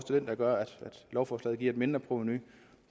den der gør at lovforslaget giver et mindre provenu